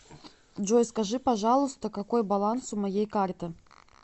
джой скажи пожалуйста какой баланс у моей карты